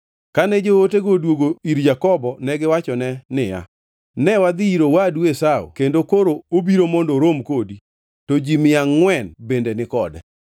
Kane jootego odwogo ir Jakobo negiwachone niya, “Ne wadhi ir owadu Esau kendo koro obiro mondo orom kodi, to ji mia angʼwen bende ni kode.”